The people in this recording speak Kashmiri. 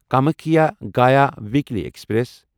Kamakhya Gaya weekly express